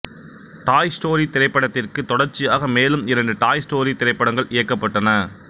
டாய் Story திரைப்படத்திற்கு தொடர்ச்சியாக மேலும் இரண்டு டாய் ஸ்டோரி திரைப்படங்கள் இயக்கப்பட்டன